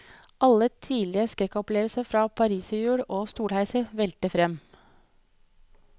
Alle tidligere skrekkopplevelser fra pariserhjul og stolheiser velter frem.